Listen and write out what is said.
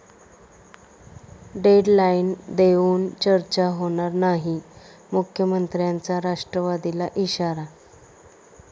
deadline देऊन चर्चा होणार नाही, मुख्यमंत्र्यांचा राष्ट्रवादीला इशारा